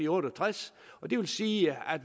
otte og tres og det vil sige at